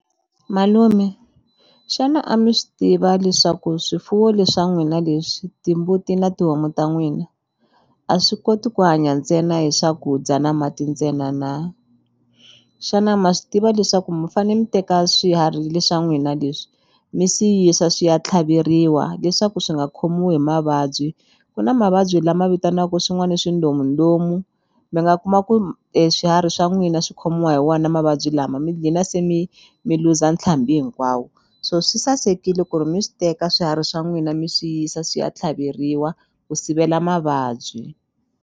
Malume xana a mi swi tiva leswaku swifuwo le swa n'wina leswi timbuti na tihomu ta n'wina a swi koti ku hanya ntsena hi swakudya na mati ntsena na xana ma swi tiva leswaku mi fane mi teka swiharhi le swa n'wina leswi mi swi yisa swi ya tlhaveriwa leswaku swi nga khomiwi hi mavabyi ku na mavabyi lama vitanaku swin'wani swindomundomu mi nga kuma ku swiharhi swa n'wina swi khomiwa hi wona mavabyi lama mi dlina se mi mi luza ntlhambi hinkwawo so swi sasekile ku ri mi swi teka swiharhi swa n'wina mi swi yisa swi ya tlhaveriwa ku sivela mavabyi.